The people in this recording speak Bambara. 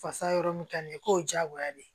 Fasa yɔrɔ min ka di ye k'o ye diyagoya de ye